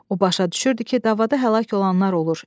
O başa düşürdü ki, davada həlak olanlar olur.